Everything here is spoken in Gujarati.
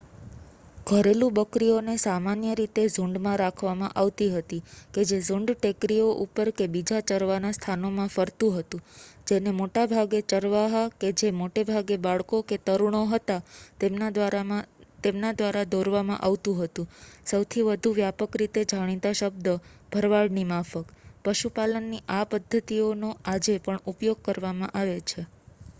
ઘરેલું બકરીઓને સામાન્ય રીતે ઝૂંડમાં રાખવામાં આવતી હતી કે જે ઝૂંડ ટેકરીઓ ઉપર કે બીજા ચરવાના સ્થાનોમાં ફરતુ હતુ જેને મોટા ભાગે ચરવાહા કે જે મોટે ભાગે બાળકો કે તરુણો હતા તેમના દ્વારા દોરવામાં આવતું હતું સૌથી વધુ વ્યાપક રીતે જાણીતા શબ્દ ભરવાડની માફક પશુપાલનની આ પદ્ધતિઓનો આજે પણ ઉપયોગ કરવામાં આવે છે